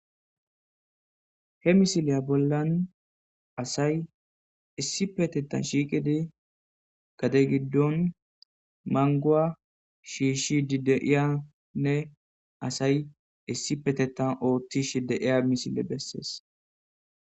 he misileya bollan asay issipetetan shiiqidi gade giddon manguwa shiishi di deiyanne asay issi petetan ooththish deiya misile bessees